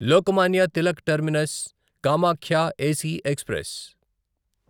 Lokmanya Tilak terminus Kamakhya AC express